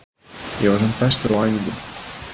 Ég var samt bestur á æfingum.